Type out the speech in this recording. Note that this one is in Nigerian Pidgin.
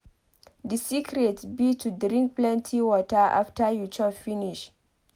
The secret be to drink plenty water after you chop finish.